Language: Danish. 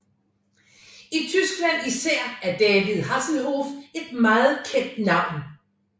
I Tyskland især er David Hasselhoff et meget kendt navn